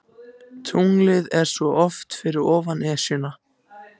Tunglið er svo oft fyrir ofan Esjuna.